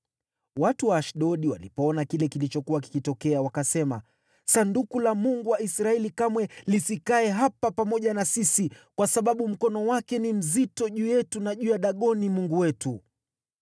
Watu wa Ashdodi walipoona kile kilichokuwa kikitokea, wakasema, “Sanduku la Mungu wa Israeli kamwe lisikae hapa pamoja na sisi, kwa sababu mkono wake ni mzito juu yetu na juu ya Dagoni mungu wetu.”